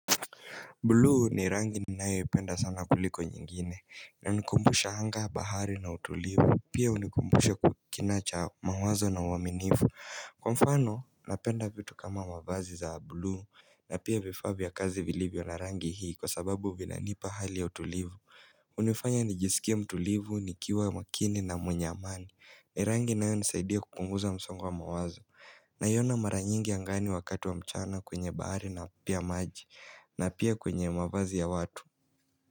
Bluu ni rangi ninayoipenda sana kuliko nyingine linanikumbusha hanga bahari na utulivu pia unikumbusha kina cha mawazo na uaminivu Kwa mfano napenda vitu kama mavazi za bulu na pia vifaa vya kazi vilivyo na rangi hii kwa sababu vinanipa hali ya utulivu hunifanya nijisikie mtulivu nikiwa makini na mwenye amani ni rangi inayonisaidia kupunguza msongo wa mawazo naiona mara nyingi angani wakati wa mchana kwenye bahari na pia maji na pia kwenye mavazi ya watu.